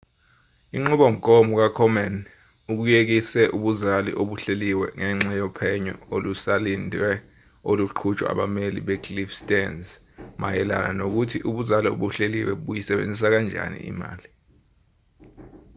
inqubomgomo ka-komen ukuyekise ubuzali obuhleliwe ngenxa yophenyo olusalindiwe oluqhutshwa abameli be-cliff stearns mayelana nokuthi ubuzali obuhleliwe buyisebenzisa kanjani imali